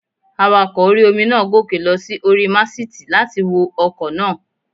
Awakọ̀ orí-omi náà gòkè lọ sí orí màsìtì láti wo ọkọ̀ náà